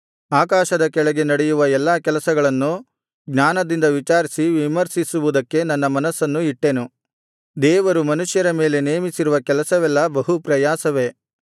ಆಕಾಶದ ಕೆಳಗಡೆ ನಡೆಯುವ ಎಲ್ಲಾ ಕೆಲಸಗಳನ್ನು ಜ್ಞಾನದಿಂದ ವಿಚಾರಿಸಿ ವಿಮರ್ಶಿಸುವುದಕ್ಕೆ ನನ್ನ ಮನಸ್ಸನ್ನು ಇಟ್ಟೆನು ದೇವರು ಮನುಷ್ಯರ ಮೇಲೆ ನೇಮಿಸಿರುವ ಕೆಲಸವೆಲ್ಲಾ ಬಹು ಪ್ರಯಾಸವೇ